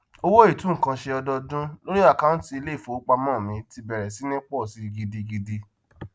owó itu nkan ṣe ọdọọdún lórí akaunti iléìfowópamó mi ti bèrè sí ní pọ sí gidigidi